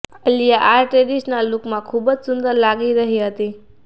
આલિયા આ ટ્રેડિશનલ લુકમાં ખૂબ જ સુંદર લાગી રહી હતી